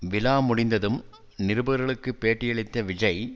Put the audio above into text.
விழா முடிந்ததும் நிருபர்களுக்கு பேட்டியளித்த விஜய்